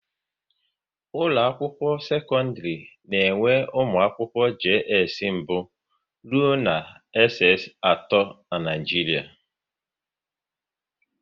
Ụlọ akwụkwọ sekọndrị na enwe ụmụ akwụkwọ JS mbụ rụọ na SS atọ n'Naijiria